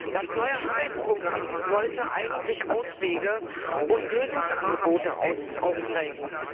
Das neue Arbeitsprogramm sollte eigentlich Auswege und Lösungsangebote aufzeigen.